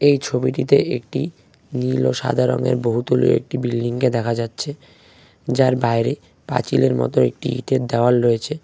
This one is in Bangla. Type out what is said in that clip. এই ছবিটিতে একটি নীল ও সাদা রঙের বহুতলীয় একটি বিল্ডিংকে দেখা যাচ্ছে যার বাইরে পাঁচিলের মতো একটি ইটের দেওয়াল রয়েছে।